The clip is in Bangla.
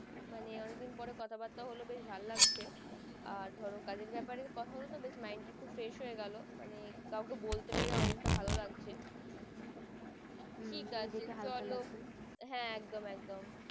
মানে ওয়ান দিন পরে কথা বার্তা হলো বেশ ভালো লাগছে আর ধরো কাজের ব্যাপারে কথা হলো তো বেশ mind তা একটু fresh হয়ে গেলো মানে কাউকে বলতে পেরে অনেকটা ভালো লাগছে ঠিক আছে চলো একদম একদম।